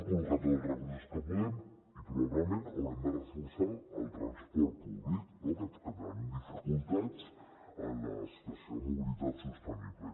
col·loquem tots els recursos que puguem i probablement haurem de reforçar el transport públic no que tenim dificultats en la situació de mobilitat sostenible